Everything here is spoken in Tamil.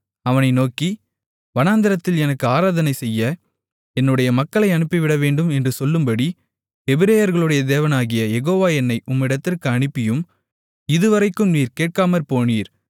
அவனை நோக்கி வனாந்திரத்தில் எனக்கு ஆராதனைசெய்ய என்னுடைய மக்களை அனுப்பிவிடவேண்டும் என்று சொல்லும்படி எபிரெயர்களுடைய தேவனாகிய யெகோவா என்னை உம்மிடத்திற்கு அனுப்பியும் இது வரைக்கும் நீர் கேட்காமற்போனீர்